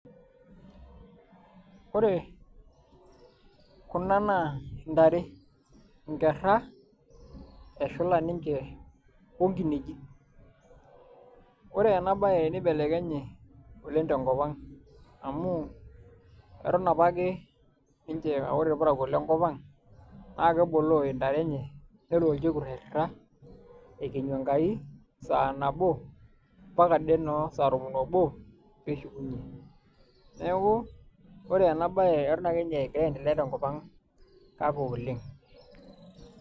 ore kuna naa ntare, nkera, eshula ninche onkineji. ore ena bae neibelekenye oleng tenkop ang. amu eton apake ninche aa ore irparakuo lenkop ang, naa keboloo ntare enye nelo olchekut airira ekenyu enkai, saa nabo mpaka ade noo saa tomon obo. pee eshukunye, neeku ore ena bae eton ake ninye egira aendelea tenkop ang kake oleng.